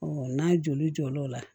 n'a joli jɔl'o la